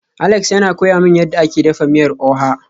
Alex yana koya min yadda ake dafa miyar oha